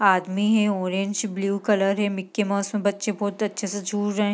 आदमी है orange blue colour है मिक्की माउस में बच्चे बहुत अच्छे से झूल रहें हैं।